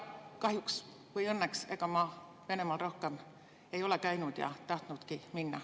Kahjuks või õnneks ma Venemaal rohkem ei ole käinud ega ole tahtnudki minna.